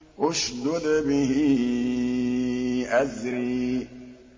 اشْدُدْ بِهِ أَزْرِي